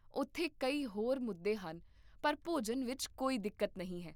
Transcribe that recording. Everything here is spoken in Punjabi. ਉੱਥੇ ਕਈ ਹੋਰ ਮੁੱਦੇ ਹਨ ਪਰ ਭੋਜਨ ਵਿੱਚ ਕੋਈ ਦਿੱਕਤ ਨਹੀਂ ਹੈ